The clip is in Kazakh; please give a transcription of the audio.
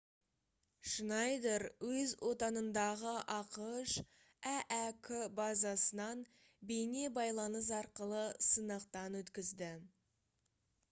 шнайдер өз отанындағы ақш әәк базасынан бейне байланыс арқылы сынақтан өткізді